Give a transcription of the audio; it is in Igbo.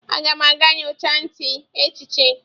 Aga m aga nyocha ntị echi echi